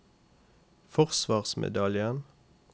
forsvarsmedaljen